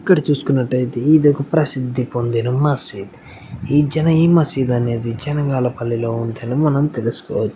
ఇక్కడ చూసానట్లైతే ఇది ఒకప్రసిద్ధి పొందిన మసీద్ ఏ జన ఏ మసీద్ అనేది జనగల పల్లిలో ఉందని తెలుసోకోవచ్చు.